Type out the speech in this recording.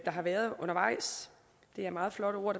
har været undervejs det er meget flotte ord